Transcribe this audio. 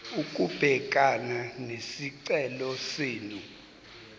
ukubhekana nesicelo senu